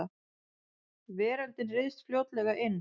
Veröldin ryðst fljótlega inn.